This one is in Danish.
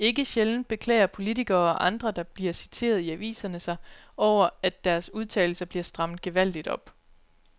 Ikke sjældent beklager politikere og andre, der bliver citeret i aviserne sig over, at deres udtalelser bliver strammet gevaldigt op.